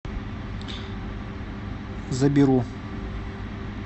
заберу